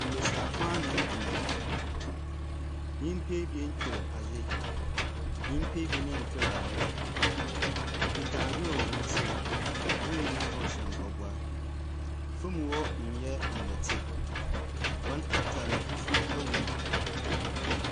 Mbesiafo anan gyina hɔ. Nyimpa ebien twer adze. Nyimpa ebien ntwre adze. Wokita adze wɔ hɔn nsamu. Hɔn nyinaa wɔhyɛ mpaboa. Famu hɔ nyɛ ndɛte. Hɔn atar no fufuw wɔ mu.